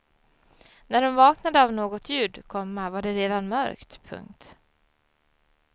När hon vaknade av något ljud, komma var det redan mörkt. punkt